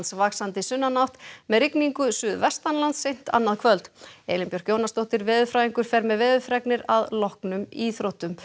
vaxandi sunnanátt með rigningu suðvestanlands seint annað kvöld Elín Björk Jónasdóttir veðurfræðingur fer með veðurfregnir að loknum íþróttum